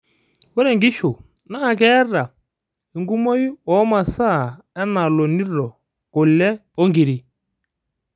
ore inkishu naa keeta enkumoi oo masaa enaa ilnjonito, kule oo inkirik